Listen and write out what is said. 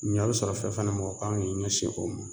Ɲɔ bɛ sɔrɔ fɛn fɛn na mɔgɔ kan k'i ɲɛsin o ma